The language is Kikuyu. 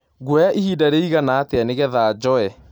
Ngũoya ĩhĩnda rĩĩgana atĩa nĩgetha njoe